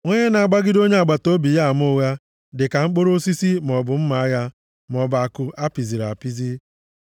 Onye na-agbagịde onye agbataobi ya ama ụgha, dịka mkpọrọ osisi maọbụ mma agha, maọbụ àkụ a pịziri apịzi. + 25:18 Ya bụ, nke dị nkọ